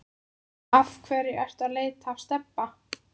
Af hverju ertu að leita að Stebba